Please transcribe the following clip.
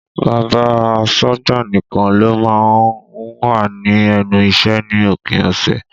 Bàbá asọ́gbà nìkan ló má ń wà ní ẹnu iṣẹ́ ní òpin ọ̀sẹ̀